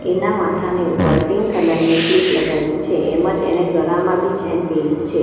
એના માથાની ઉપર પિંક કલર ની ક્લિપ લગાવી છે એમ જ એને ગરામાં બી ચેઇન પેયરી છે.